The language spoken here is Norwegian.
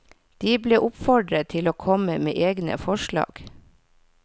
De ble oppfordret til å komme med egne forslag.